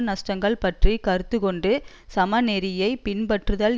நஷ்டங்கள் பற்றி கருத்துக்கொண்டும் சமநெறியைப் பின்பற்றுதல்